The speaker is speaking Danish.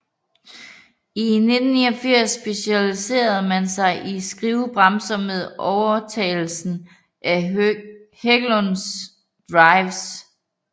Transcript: I 1989 specialiserede man sig i skivebremser med overtagelsen af Hägglunds Drives